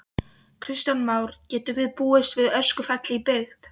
Kristján Már: Getum við búist við öskufalli í byggð?